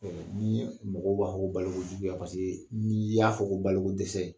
ni mɔgɔw b'a fɔ ko balokojuguya paseke n'i y'a fɔ ko bolokodɛsɛ